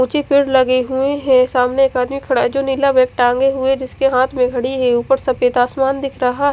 उचे पेड़ लगे हुए है सामने एक आदमी खड़ा है जो नीला बेग टाँगे हुए जिसके हाथ में घड़ी है उपर सफेद आसमान दिख रहा--